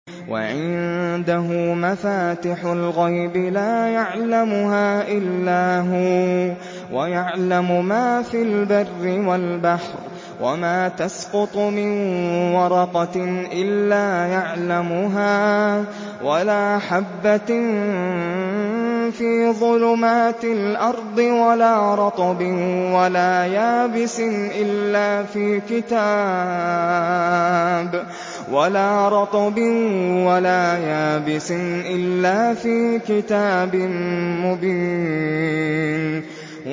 ۞ وَعِندَهُ مَفَاتِحُ الْغَيْبِ لَا يَعْلَمُهَا إِلَّا هُوَ ۚ وَيَعْلَمُ مَا فِي الْبَرِّ وَالْبَحْرِ ۚ وَمَا تَسْقُطُ مِن وَرَقَةٍ إِلَّا يَعْلَمُهَا وَلَا حَبَّةٍ فِي ظُلُمَاتِ الْأَرْضِ وَلَا رَطْبٍ وَلَا يَابِسٍ إِلَّا فِي كِتَابٍ مُّبِينٍ